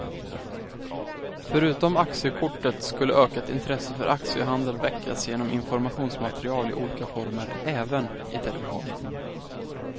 Förutom aktiekortet skulle ökat intresse för aktiehandel väckas genom informationsmaterial i olika former, även i televisionen.